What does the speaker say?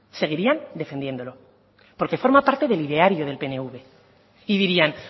seguirían defendiéndolo porque forma parte del ideario del pnv y dirían